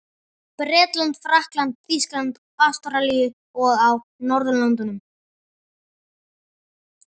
Bretlandi, Frakklandi, Þýskalandi, Ástralíu og á Norðurlöndum.